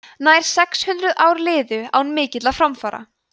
nær sex hundruð ár liðu án mikilla framfara